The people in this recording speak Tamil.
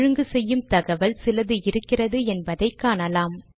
ஒழுங்கு செய்யும் தகவல் சிலது இருக்கிறது என்பதை காணலாம்